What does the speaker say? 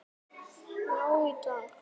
Hefði átt að vita það.